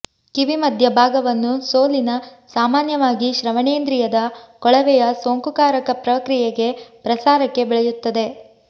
ಕಿವಿ ಮಧ್ಯ ಭಾಗವನ್ನು ಸೋಲಿನ ಸಾಮಾನ್ಯವಾಗಿ ಶ್ರವಣೇಂದ್ರಿಯದ ಕೊಳವೆಯ ಸೋಂಕುಕಾರಕ ಪ್ರಕ್ರಿಯೆಗೆ ಪ್ರಸಾರಕ್ಕೆ ಬೆಳೆಯುತ್ತದೆ